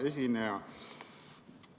Hea esineja!